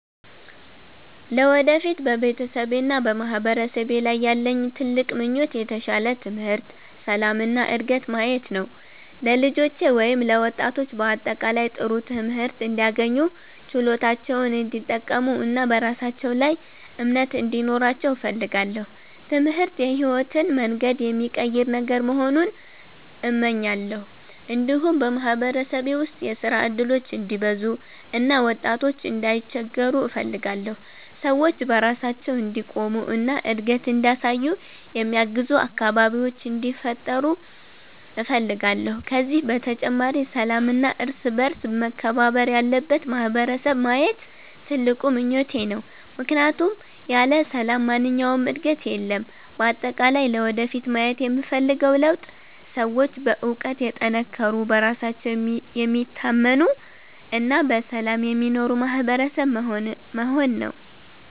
ለወደፊት በቤተሰቤና በማህበረሰቤ ላይ ያለኝ ትልቅ ምኞት የተሻለ ትምህርት፣ ሰላም እና ዕድገት ማየት ነው። ለልጆቼ ወይም ለወጣቶች በአጠቃላይ ጥሩ ትምህርት እንዲያገኙ፣ ችሎታቸውን እንዲጠቀሙ እና በራሳቸው ላይ እምነት እንዲኖራቸው እፈልጋለሁ። ትምህርት የሕይወትን መንገድ የሚቀይር ነገር መሆኑን እመኛለሁ። እንዲሁም በማህበረሰቤ ውስጥ የሥራ እድሎች እንዲበዙ እና ወጣቶች እንዳይቸገሩ እፈልጋለሁ። ሰዎች በራሳቸው እንዲቆሙ እና እድገት እንዲያሳዩ የሚያግዙ አካባቢዎች እንዲፈጠሩ እፈልጋለሁ። ከዚህ በተጨማሪ ሰላምና እርስ በእርስ መከባበር ያለበት ማህበረሰብ ማየት ትልቁ ምኞቴ ነው፣ ምክንያቱም ያለ ሰላም ማንኛውም ዕድገት የለም። በአጠቃላይ ለወደፊት ማየት የምፈልገው ለውጥ ሰዎች በእውቀት የተጠናከሩ፣ በራሳቸው የሚታመኑ እና በሰላም የሚኖሩ ማህበረሰብ መሆን ነው።